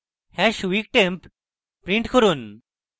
hash weektemp print করুন